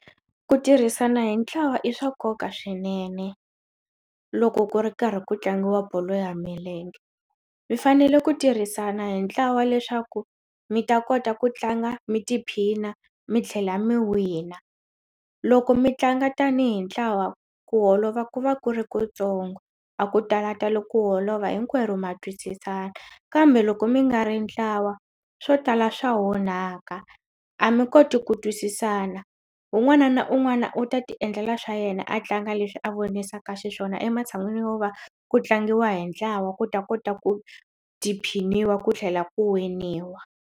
Ku tirhisana hi ntlawa i swa nkoka swinene loko ku ri karhi ku tlangiwa bolo ya milenge mi fanele ku tirhisana hi ntlawa leswaku mi ta kota ku tlanga mi tiphina mi tlhela mi wina loko mi tlanga tanihi ntlawa ku holova ku va ku ri kutsongo a ku talatali ku holova hinkwerhu ma twisisana kambe loko mi nga ri ntlawa swo tala swa onhaka a mi koti ku twisisana un'wana na un'wana u ta tiendlela swa yena a tlanga leswi a vonisaka xiswona ematshan'wini yo va ku tlangiwa hi ntlawa ku ta kota ku tiphiniwa ku tlhela ku winiwa.